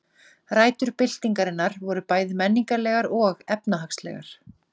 Rætur byltingarinnar voru bæði menningarlegar og efnahagslegar.